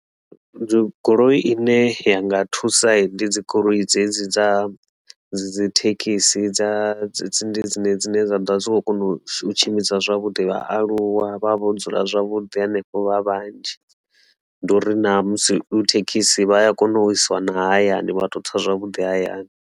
Dzi goloi ine ya nga thusa ndi dzi goloi dzedzi dza dzi Thekhisi dza tsindi dzine dzine dza ḓo vha zwi khou kona u tshimbidza zwavhuḓi vhaaluwa vha vho dzula zwavhuḓi henefho vha vhanzhi ndi uri na musi Thekhisi vha ya kona u isiwa na hayani vha to tsa zwavhuḓi hayani.